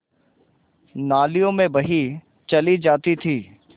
नालियों में बही चली जाती थी